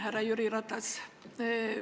Härra Jüri Ratas!